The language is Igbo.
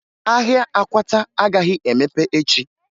Ahịa akwata agaghị emepe echi